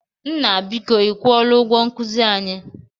Nna, biko ị kwụọla ụgwọ nkuzi anyị?